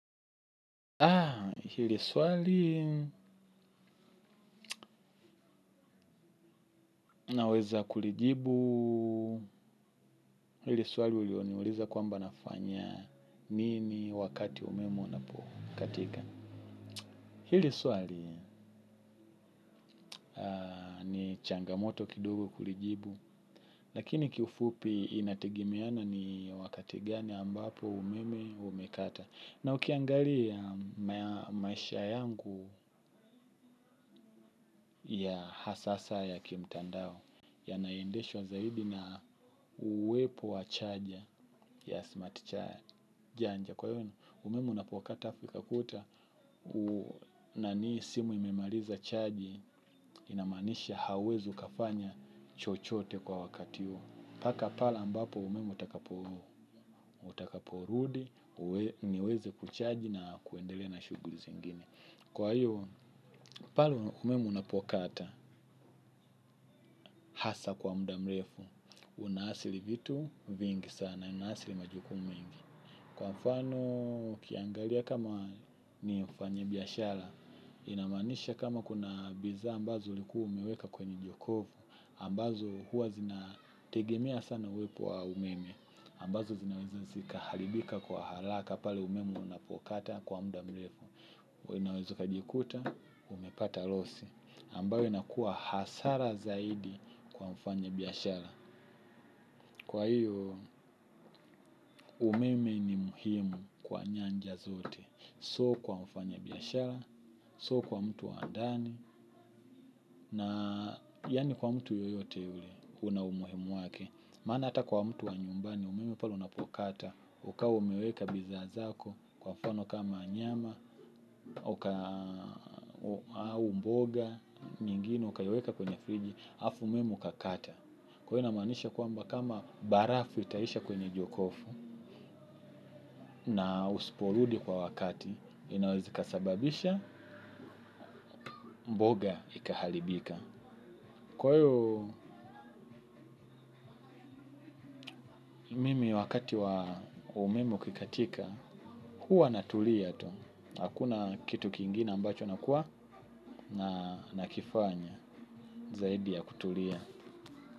Haa, hili swali naweza kulijibu, hili swali ulio niuliza kwamba nafanya nini wakati umeme unapo katika. Hili swali ni changamoto kidogo kulijibu, lakini kiufupi inategemeana ni wakati gani ambapo umeme umekata. Na ukiangalia maisha yangu ya hasa sa ya kimtandao yanaendeshwa zaidi na uwepo wa charger ya smart charger. Janja kwa hiyo umeme unapo kata fika kuta na ni simu imemaliza charge inamaanisha hauwezi ukafanya chochote kwa wakati huo. Paka pale ambapo umeme utakaporudi, niweze kucharge na kuendelea na shuguli zingine. Kwa hiyo, pale umeme unapokata, hasa kwa mudamrefu, unahasili vitu vingi sana, unahasili majukumu mingi. Kwa mfano, ukiangalia kama ni ufanye biyashara, inamaanisha kama kuna bidhaa ambazo ulikuwa umeweka kwenye jokofu, ambazo huwa zina tegemea sana uwepo wa umeme, ambazo zinaweza zikahalibika kwa halaka pale umeme unapokata kwa muda mrefu. Unaweza ukajikuta, umepata loss, ambayo inakua hasara zaidi kwa mfanya biyashara. Kwa hiyo, umeme ni muhimu kwa nyanja zote, so kwa mfanya biyashara, so kwa mtu wa ndani, na yani kwa mtu yoyote yule, unaumuhimu wake. Maana ata kwa mtu wa nyumbani, umeme pale unapokata, ukawa umeweka bidhaa zako, kwa mfano kama nyama, au mboga, mingine ukaiweka kwenye friji, hafu umeme ukakata. Kwa hiyo inamaanisha kwamba kama barafu itaisha kwenye jokofu na usiporudi kwa wakati, inaweza ikasababisha, mboga ikahalibika. Kwa hiyo mimi wakati wa umeme ukikatika, huwa natulia tu. Hakuna kitu kingine ambacho nakuwa na nakifanya zaidi ya kutulia.